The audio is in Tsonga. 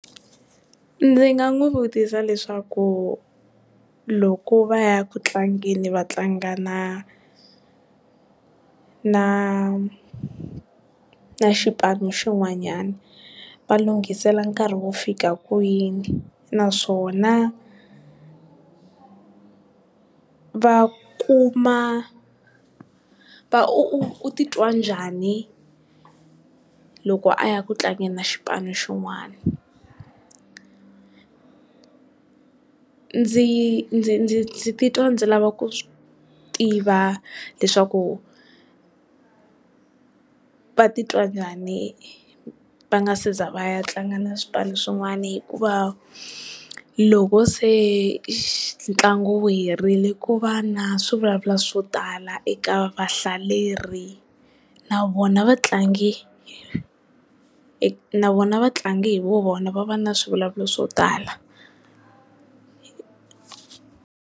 Ndzi nga n'wi vutisa leswaku loko va ya ku tlangeni va tlanga na na na xipano xin'wanyana va lunghisela nkarhi wo fika kwini, naswona va kuma va u titwa njhani loko a ya ku tlangeni na xipano xin'wana. Ndzi ndzi titwa ndzi lava ku tiva leswaku, va titwa njhani va nga se za va ya tlanga na swipanu swin'wana hikuva loko se ntlangu wu herile ku va na swivulavula swo tala eka vahlaleri na vona vatlangi na vona vatlangi hi vu vona va va na swivulavula swo tala.